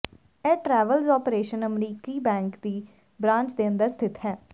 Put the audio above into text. ਇਹ Travelex operation ਅਮਰੀਕੀ bank ਦੀ ਬ੍ਰਾਂਚ ਦੇ ਅੰਦਰ ਸਥਿਤ ਹੈ